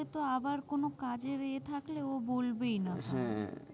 সে তো আবার কোনো কাজের এ থাকলে ও বলবেই না।